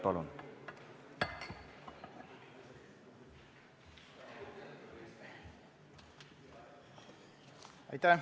Palun!